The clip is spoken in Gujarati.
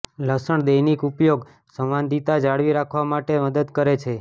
લસણ દૈનિક ઉપયોગ સંવાદિતા જાળવી રાખવા માટે મદદ કરે છે